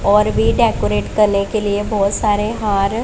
और भी डेकोरेट करने के लिए बहोत सारे हार--